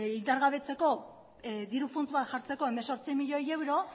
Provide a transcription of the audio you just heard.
indargabetzeko diru futs bat jartzeko hemezortzi milioi euro